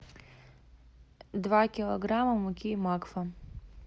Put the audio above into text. два килограмма муки макфа